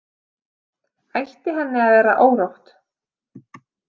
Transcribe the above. Ætti henni að vera órótt?